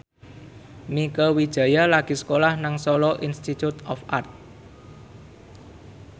Mieke Wijaya lagi sekolah nang Solo Institute of Art